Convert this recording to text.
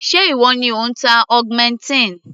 Ṣé ìwọ ni ò ń ta augmentin?